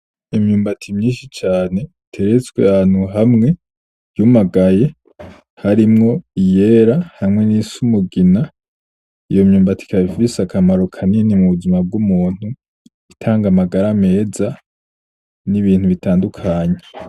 imyumbati myishi cane iteretswe ahantu hamwe yumagaye, harimwo iyera hamwe n’iyisa n'umugina. Iyo myumbati ikaba ifise akamaro kanini m’ubuzima bw’umuntu, itanga amagara meza n’ibintu bitandukanye.